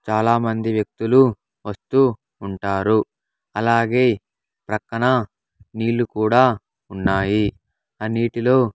చాలామంది వ్యక్తులు వస్తూ ఉంటారు అలాగే ప్రక్కన నీళ్ళు కూడా ఉన్నాయి ఆ నీటిలో--